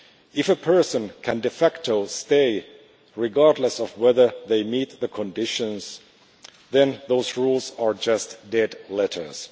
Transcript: If a person can de facto stay regardless of whether they meet the conditions, then those rules are just dead letters.